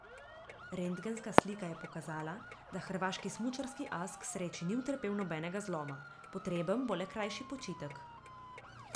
Rentgenska slika je pokazala, da hrvaški smučarski as k sreči ni utrpel nobenega zloma, potreben bo le krajši počitek.